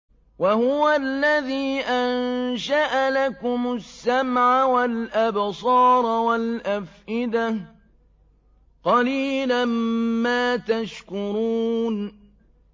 وَهُوَ الَّذِي أَنشَأَ لَكُمُ السَّمْعَ وَالْأَبْصَارَ وَالْأَفْئِدَةَ ۚ قَلِيلًا مَّا تَشْكُرُونَ